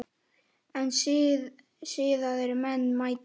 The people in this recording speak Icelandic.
En siðaðir menn mæta.